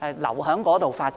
留在當地發展。